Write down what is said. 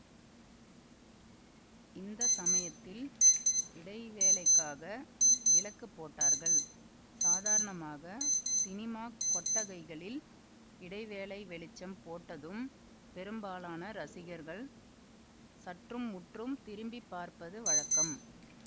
இந்த சமயத்தில் இடைவேளைக்காக விளக்கு போட்டார்கள் சாதாரணமாக ஸினிமாக் கொட்டகைகளில் இடைவேளை வெளிச்சம் போட்டதும் பெரும்பாலான ரசிகர்கள் சற்றும் முற்றும் திரும்பி பார்ப்பது வழக்கம்